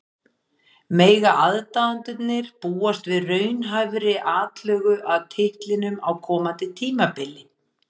Mega aðdáendurnir búast við raunhæfri atlögu að titlinum á komandi tímabili?